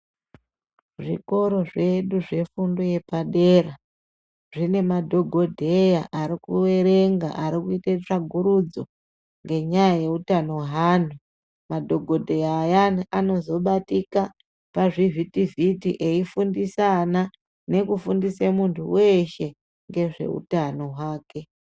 Zvikoro zvedu zvefundo yepadera, zvine madhokodheya ari kuerenga. Arikuite tsvagurudzo ngenyaya yeutano hweanhu, madhokodheya ayani anozobatika pazvivhitivhiti eifundisa ana, nekufundise muntu weshe ngezveutano hwake.